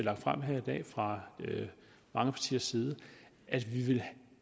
har fremsat her i dag fra mange partiers side at vi vil